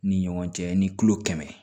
Ni ɲɔgɔn cɛ ni tulo kɛmɛ